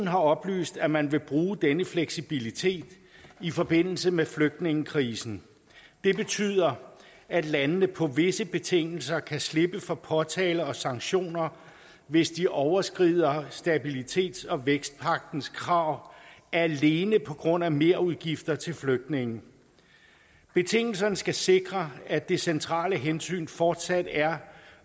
har oplyst at man vil bruge denne fleksibilitet i forbindelse med flygtningekrisen det betyder at landene på visse betingelser kan slippe for påtale og sanktioner hvis de overskrider stabilitets og vækstpagtens krav alene på grund af merudgifter til flygtninge betingelserne skal sikre at det centrale hensyn fortsat er